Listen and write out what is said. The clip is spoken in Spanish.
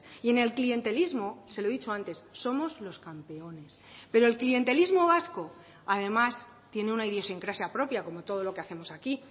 y en el clientelismo se lo he dicho antes somos los campeones pero el clientelismo vasco además tiene una idiosincrasia propia como todo lo que hacemos aquí